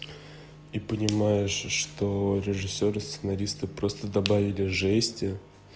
и понимаешь что режиссёры сценаристы просто добавили жести